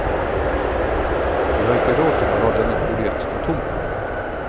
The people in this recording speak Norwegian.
Vi har ikke råd til å la denne boligen stå tom.